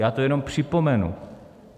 Já to jenom připomenu.